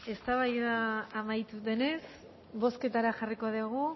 eztabaida amaitu denez bozketara jarriko dugu